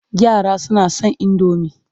Yara suna son indomi.